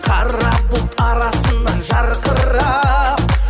қара бұлт арасынан жарқырап